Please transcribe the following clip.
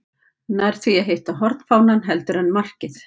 Nær því að hitta hornfánann heldur en markið.